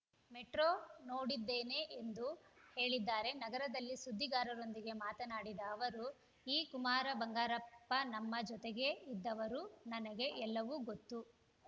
motor ನೋಡಿದ್ದೀನಿ ಎಂದು ಹೇಳಿದ್ದಾರೆ ನಗರದಲ್ಲಿ ಸುದ್ದಿಗಾರರೊಂದಿಗೆ ಮಾತನಾಡಿದ ಅವರು ಈ ಕುಮಾರ ಬಂಗಾರಪ್ಪ ನಮ್ಮ ಜೊತೆಗೇ ಇದ್ದವರು ನನಗೆ ಎಲ್ಲವೂ ಗೊತ್ತು